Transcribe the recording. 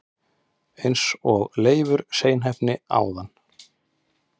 eins og Leifur seinheppni áðan!